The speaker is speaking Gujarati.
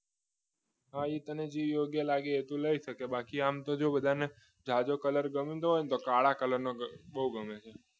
હવે તને જે યોગ્ય લાગે એ તું લઈ શકે બાકી આમ તો જો બધાને જાજો કલર ગમતો હોય ને તો કાળા કલરનો બહુ ગમે